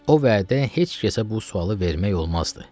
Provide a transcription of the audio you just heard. O vədə heç kəsə bu sualı vermək olmazdı.